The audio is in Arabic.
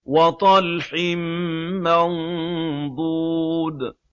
وَطَلْحٍ مَّنضُودٍ